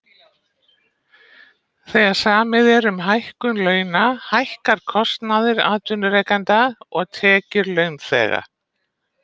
Þegar samið er um hækkun launa hækkar kostnaður atvinnurekenda og tekjur launþega.